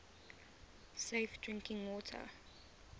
safe drinking water